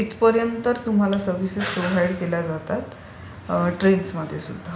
So इथपर्यंत तुम्हाला services provide केल्या जातात ट्रेन्समध्ये सुद्धा.